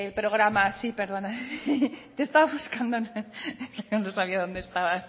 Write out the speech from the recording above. programa sí perdona te estaba buscando no sabía dónde estabas